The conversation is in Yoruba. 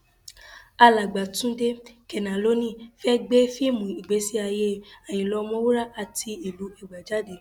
alàgbà túnde kénálónì fẹẹ gbé fíìmù ìgbésí ayé àyínlá ọmọwúrà àti ìlú ẹgbà jáde